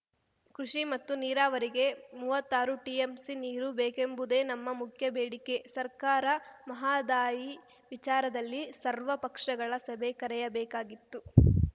ಕೃಷಿ ಮತ್ತು ನೀರಾವರಿಗೆ ಮೂವತ್ತಾರು ಟಿಎಂಸಿ ನೀರು ಬೇಕೆಂಬುದೇ ನಮ್ಮ ಮುಖ್ಯ ಬೇಡಿಕೆ ಸರ್ಕಾರ ಮಹದಾಯಿ ವಿಚಾರದಲ್ಲಿ ಸರ್ವ ಪಕ್ಷಗಳ ಸಭೆ ಕರೆಯಬೇಕಾಗಿತ್ತು